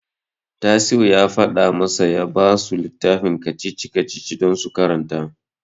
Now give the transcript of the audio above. Tasi'u ya faɗa masa ya basu littafin kacici-kacici don su karanta.